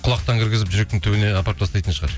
құлақтан кіргізіп жүректің түбіне апарып тастайтын шығар